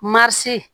Marisi